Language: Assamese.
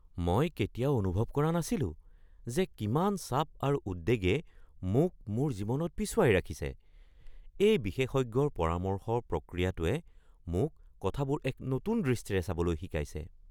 মই কেতিয়াও অনুভৱ কৰা নাছিলো যে কিমান চাপ আৰু উদ্বেগে মোক মোৰ জীৱনত পিছুৱাই ৰাখিছে। এই বিশেষজ্ঞৰ পৰামৰ্শ প্ৰক্ৰিয়াটোৱে মোক কথাবোৰ এক নতুন দৃষ্টিৰে চাবলৈ শিকাইছে!